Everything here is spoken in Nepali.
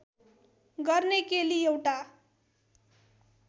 गर्ने केली एउटा